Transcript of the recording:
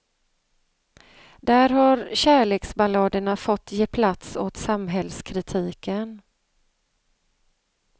Där har kärleksballaderna fått ge plats åt samhällskritiken.